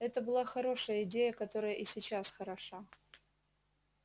это была хорошая идея которая и сейчас хороша